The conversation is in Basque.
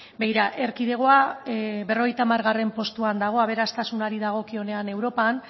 begira erkidegoa berrogeita hamargarrena postuan dago aberastasunari dagokionean europan